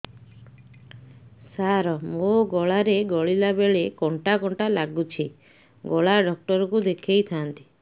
ସାର ମୋ ଗଳା ରେ ଗିଳିଲା ବେଲେ କଣ୍ଟା କଣ୍ଟା ଲାଗୁଛି ଗଳା ଡକ୍ଟର କୁ ଦେଖାଇ ଥାନ୍ତି